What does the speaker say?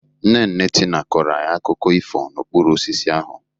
Nne nne Tina kọrọ anyị akụkọ ifo n'okpuru osisi ahụ.